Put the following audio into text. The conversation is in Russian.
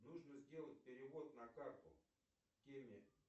нужно сделать перевод на карту теме